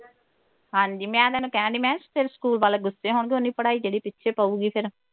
ਹਾਂਜੀ ਮੈਂ ਉਨ੍ਹਾਂ ਨੂੰ ਕਹਿਣ ਡਈ ਮੈਂ ਕਿਹਾ ਤੇਰੇ ਸਕੂਲ ਗੁੱਸੇ ਹੋਣਗੇ ਓਨੀ ਪੜ੍ਹਾਈ ਤੇਰੀ ਪਿੱਛੇ ਪਊਗੀ ਫਿਰ।